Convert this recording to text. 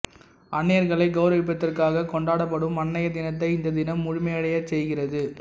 அன்னையர்களை கெளரவிப்பதற்காக கொண்டாப்படும் அன்னையர் தினத்தை இந்த தினம் முழுமையடையச் செய்கிறது